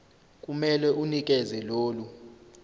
kumele unikeze lolu